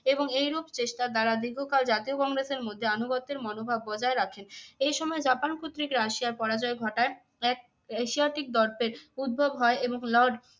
এবং এইরূপ চেষ্টার দ্বারা দীর্ঘকাল জাতীয় কংগ্রেসের মধ্যে যে আনুগত্যের মনোভাব বজায় রাখেন। এই সময় জাপান কর্তৃক রাশিয়ার পরাজয় ঘটায় এক এশিয়াটিক দর্পের উদ্ভব হয় এবং lord